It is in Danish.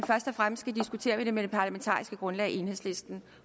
først og fremmest skal diskutere det med det parlamentariske grundlag enhedslisten